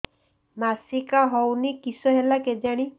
ମାସିକା ହଉନି କିଶ ହେଲା କେଜାଣି